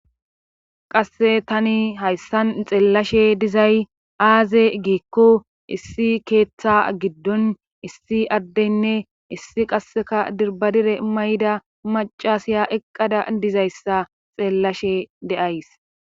qasse tani hayssan xeellashe dizay aaze giikko issi keeththa giddon issi addeynne issi qasseka dirbadire mayda macasiya eqqada dizayssa xeellashe de7ays